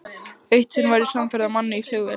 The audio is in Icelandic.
Eitt sinn var ég samferða manni í flugvél.